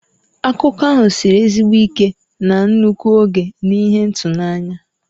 Akụkọ ahụ siri ezigbo ike na nnukwu oge na ihe ịtụnanya.